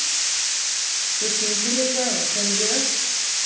Svo syng ég líka og sem lög.